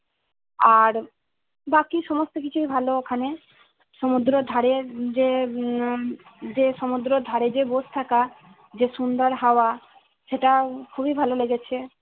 আর বাকি সমস্ত কিছুই ভালো ওখানে সুমুদ্রে ধারে যে উম যে সুমদ্রে যেয়ে বসে থাকা যে সুন্দর হাওয়া সেটা খুবই ভালো লেগেছে